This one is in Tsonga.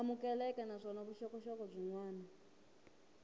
amukeleka naswona vuxokoxoko byin wana